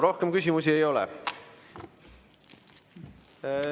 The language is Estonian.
Rohkem küsimusi ei ole.